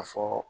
A fɔ